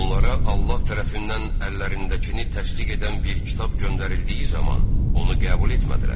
Onlara Allah tərəfindən əllərindəkini təsdiq edən bir kitab göndərildiyi zaman, onu qəbul etmədilər.